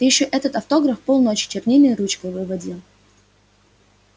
ты ещё этот автограф полночи чернильной ручкой выводил